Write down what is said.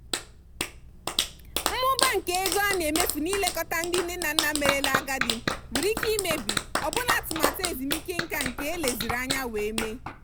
mmụba nke ego a na-emefu n'ilekọta ndị nne na nna merela agadi nwere ike imebi ọbụna atụmatụ ezumike nka nke eleziri anya wee mee.